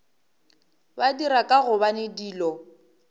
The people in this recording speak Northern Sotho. ba dira ka gobane dilo